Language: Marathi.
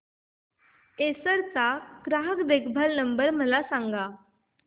एसर चा ग्राहक देखभाल नंबर मला सांगा